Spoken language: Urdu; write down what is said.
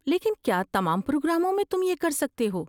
لیکن کیا تمام پروگراموں میں تم یہ کر سکتے ہو؟